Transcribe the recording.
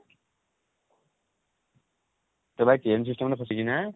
ତୋ ଭାଇ chain system ରେ ଫସିଛି ନା?